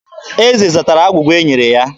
Eze zatara agwụgwa e nyere ya.